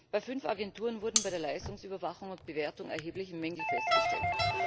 Bei fünf Agenturen wurden bei der Leistungsüberwachung und bewertung erhebliche Mängel festgestellt.